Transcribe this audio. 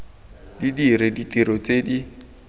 di dire ditiro tse di